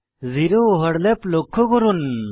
zero overlap লক্ষ্য করুন